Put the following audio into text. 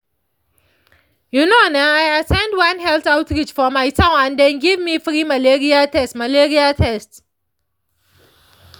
you know na i at ten d one health outreach for my town and dem give me free malaria test malaria test